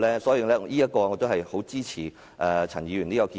所以，我十分支持陳議員這項建議。